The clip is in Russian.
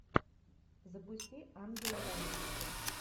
запусти ангелы в америке